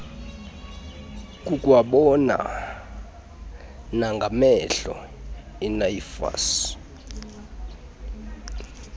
kukwabonwa nangamehlo inafvsa